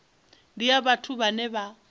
ndi ya vhathu vhane vha